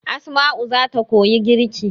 Asma'u zata koyi girki